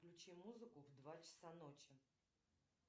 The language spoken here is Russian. включи музыку в два часа ночи